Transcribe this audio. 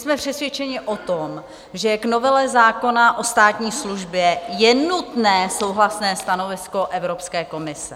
Jsme přesvědčeni o tom, že k novele zákona o státní službě je nutné souhlasné stanovisko Evropské komise.